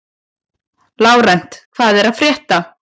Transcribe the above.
Lárent, hvað er að frétta?